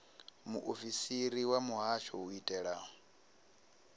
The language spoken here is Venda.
muofisiri wa muhasho u itela